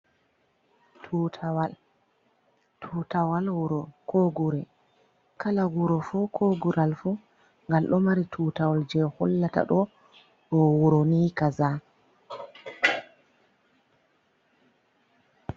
Tutawal. Tutawal wuro ko gure. Kala gure fu ko gural fu gal ɗo mari tutawal je hullata ɗo, ɗo wuro ni kaza.